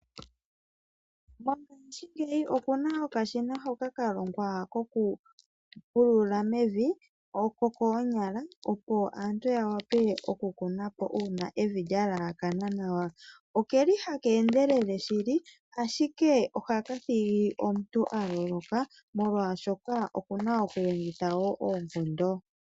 Mongaashingeyi opuna okashina hoka kalongwa kokupulula mevi kokoonyala, opo aantu yawape okukunapo uuna evi lyeelekana nawa. Oke li haka endelele shili, ashike ohaka thigi omuntu aloloka molwaashoka okuna okulongitha wo oonkondo .